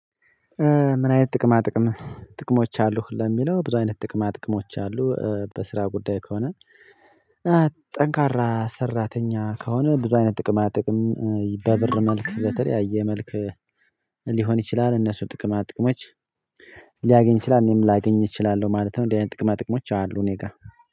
ምን አይነት ጥቅማ ጥቅም ጥቅሞች አሉህ ለሚለው ብዙ አይነት ጥቅማ ጥቅሞች አሉ በስራ ጉዳይ ከሆነ ጠንካራ ሰራተኛ ከሆነ ብዙ አይነት ጥቅማ ጥቅም በብር መልክ በተለያየ መልክ ሊሆን ይችላል እነሱ ጥቅማ ጥቅሞች ሊያገኝ ይችላል እኔም ላገኝ እችላለሁ ማለት ነው። እንደዚህ አይነት ጥቅማ ጥቅሞች አሉ እኔ ጋር